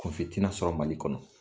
Kun fin tɛna sɔrɔ Mali kɔnɔ!